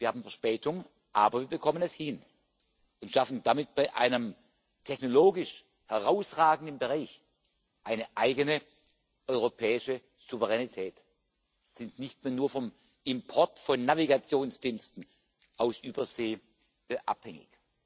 Wir haben Verspätung, aber wir bekommen es hin und schaffen damit bei einem technologisch herausragenden Bereich eine eigene europäische Souveränität und sind nicht mehr nur vom Import von Navigationsdiensten aus Übersee abhängig.